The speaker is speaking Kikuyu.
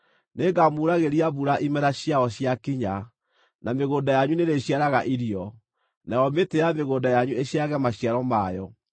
nĩngamuuragĩria mbura imera ciayo ciakinya, na mĩgũnda yanyu nĩrĩciaraga irio, nayo mĩtĩ ya mĩgũnda yanyu ĩciarage maciaro mayo.